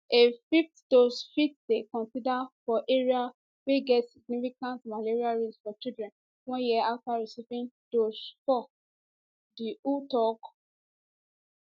a fifth dose fit dey considered for areas wey get significant malaria risk for children one year afta receiving dose 4 di who tok